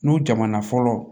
N'u jamana fɔlɔ